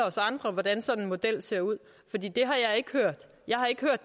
os andre hvordan sådan en model ser ud fordi det har jeg ikke hørt jeg har ikke hørt